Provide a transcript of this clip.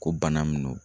Ko bana min don